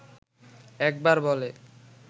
একবার বলে